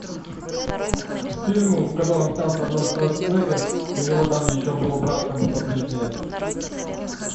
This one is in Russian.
фильм в котором снялся арнольд шварценеггер и у него там еще был брат как будто близнец